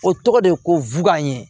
O tɔgɔ de ko ye